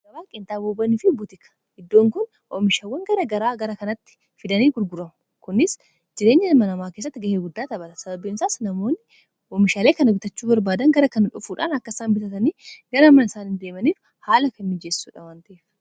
kaaawaaqeentaa boobanii fi ubutika iddoon kun oomishaawwan gara garaa gara kanatti fidanii gurguramu kunis jireenyamanamaa kessatti ga'ee guddaa tabata sababbeemsaas namoonni oomishaalee kana bitachuu barbaadan gara kana dhofuudhaan akkasaan bitatanii gara mana isaanhi deemaniif haala kan miijeessuudhaa wanteef.